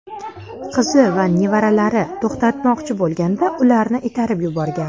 Qizi va nevaralari to‘xtatmoqchi bo‘lganda, ularni itarib yuborgan.